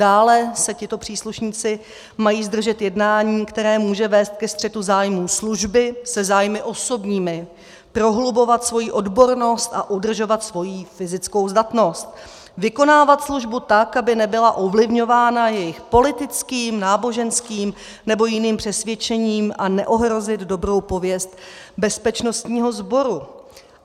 Dále se tito příslušnici mají zdržet jednání, které může vést ke střetu zájmů služby se zájmy osobními, prohlubovat svoji odbornost a udržovat svoji fyzickou zdatnost, vykonávat službu tak, aby nebyla ovlivňována jejich politickým, náboženským nebo jiným přesvědčením, a neohrozit dobrou pověst bezpečnostního sboru.